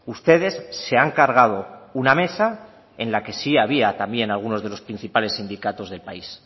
ustedes se han cargado una mesa en la que sí había también algunos de los principales sindicatos del país